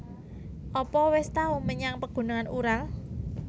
Apa wis tau menyang Pegunungan Ural?